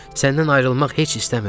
Səndən ayrılmaq heç istəmirəm.